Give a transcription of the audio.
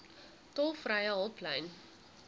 tolvrye hulplyn